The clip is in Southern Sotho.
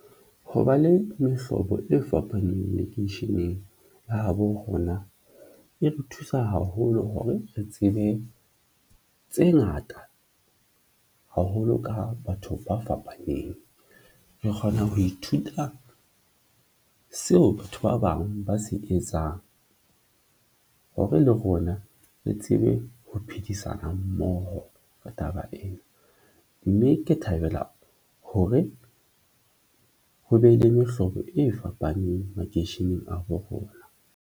Ho ba le mehlobo e fapaneng lekeisheneng la habo rona e re thusa haholo hore re tsebe tse ngata haholo ka batho ba fapaneng. Re kgona ho ithuta seo batho ba bang ba se etsang hore le rona re tsebe ho phedisana mmoho ka taba ena, mme ke thabela hore ho be le mehlobo e fapaneng makeisheneng a bo rona.